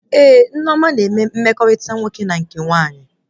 Ee, Nneoma na eme mmekọrịta nwoke ma nke nwaanyị